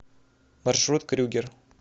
маршрут крюгер